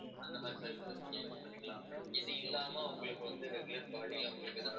அந்த மாதிரி services நீங்க use பண்ணிக்கலாம். இது இல்லாம உங்களுக்கு வந்து, regular body ல அவங்களுக்கு ஏதாவது